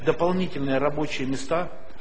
дополнительные рабочие места